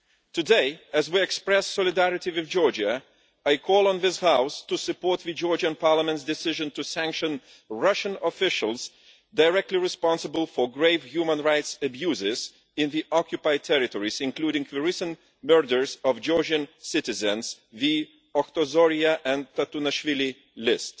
Today, as we express solidarity with Georgia, I call on this House to support the Georgian Parliament's decision to sanction Russian officials directly responsible for grave human rights abuses in the occupied territories, including the recent murders of Georgian citizens the Otkhozoria and Tatunashvili list.